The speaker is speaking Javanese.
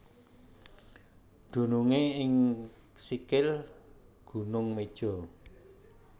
Dunungé ing sikil Gunung Meja